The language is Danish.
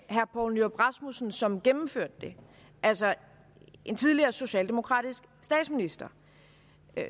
poul nyrup rasmussen som gennemførte det altså en tidligere socialdemokratisk statsminister